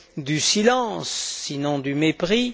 du silence, sinon du mépris.